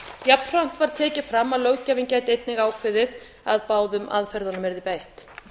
jafnframt var tekið fram að löggjafinn gæti einnig ákveðið að báðum aðferðum yrði beitt